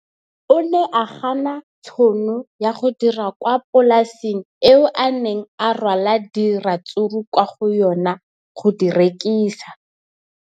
O ne a gana tšhono ya go dira kwa polaseng eo a neng rwala diratsuru kwa go yona go di rekisa.